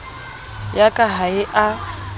ya ka ha e a